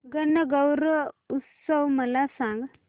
गणगौर उत्सव मला सांग